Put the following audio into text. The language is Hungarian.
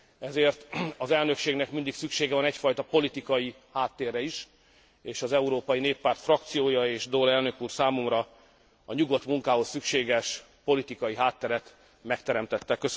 ezért az elnökségnek mindig szüksége van egyfajta politikai háttérre is, és az Európai Néppárt frakciója és Daul elnök úr számomra a nyugodt munkához szükséges politikai hátteret megteremtette.